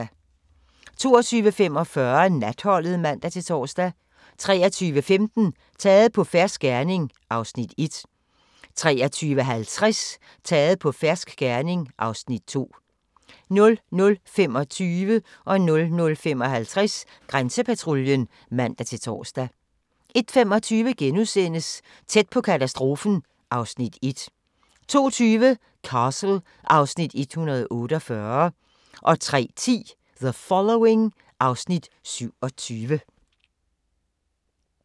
22:45: Natholdet (man-tor) 23:15: Taget på fersk gerning (Afs. 1) 23:50: Taget på fersk gerning (Afs. 2) 00:25: Grænsepatruljen (man-tor) 00:55: Grænsepatruljen (man-tor) 01:25: Tæt på katastrofen (Afs. 1)* 02:20: Castle (Afs. 148) 03:10: The Following (Afs. 27)